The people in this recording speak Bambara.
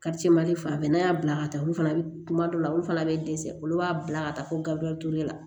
fan bɛɛ n'a y'a bila ka taa olu fana kuma dɔ la olu fana bɛ dɛsɛ olu b'a bila ka taa fo gabriel la